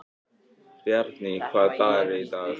Bjarný, hvaða dagur er í dag?